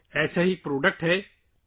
ایسی ہی ایک مصنوعات اراکو کافی ہے